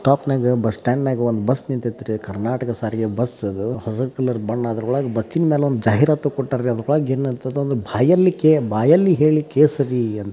ಟಾಪ್ನಗ bus stand ಒಂದ್ bus ನಿಂತೈತ್ರಿ ಕರ್ನಾಟಕ ಸಾರಿಗೆ ಬಸ್ ಅದು ಹಸೀರ್ ಕಲರ್ ಬಣ್ಣ ಅದೊರೊಳಗ್ ಬಿಚ್ಚಿನ್ ಮ್ಯಾಗ್ ಒಂದ್ ಜಾಹಿರಾತ್ ಕೊಟ್ಟಾರ್ರಿ ಅದ್ರೊಳಗ್ ಏನೈತಿಂದ್ರ ಬಾಯಲ್ಲಿ ಕೇ ಹೇಳಿ ಕೇಸರಿ --